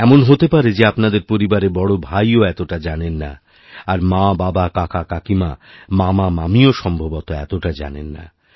এমন হতে পারে যে আপনাদের পরিবারে বড় ভাইও এতটা জানে না আরমাবাবা কাকাকাকিমা মামামামীও সম্ভবতঃ এতটা জানেন না